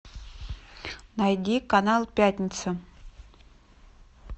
найди канал пятница